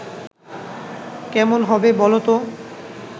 কেমন হবে বল তো